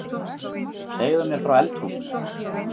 Segðu mér frá eldhúsinu